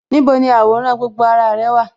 Níbo ni àwòrán gbogbo ara rẹ̀ wà?